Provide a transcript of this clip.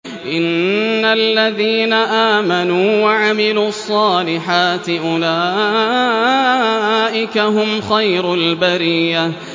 إِنَّ الَّذِينَ آمَنُوا وَعَمِلُوا الصَّالِحَاتِ أُولَٰئِكَ هُمْ خَيْرُ الْبَرِيَّةِ